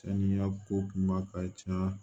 Saniya ko kuma ka ca